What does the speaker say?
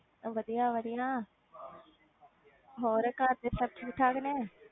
ਉਹ ਵਧੀਆ ਵਧੀਆ ਹੋਰ ਘਰਦੇ ਸਭ ਠੀਕ ਠਾਕ ਨੇ?